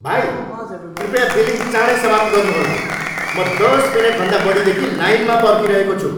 भाइ, कृपया बिलिङ चाँडै समाप्त गर्नुहोला! म दस मिनेटभन्दा बढीदेखि लाइनमा पर्खिरहेको छु।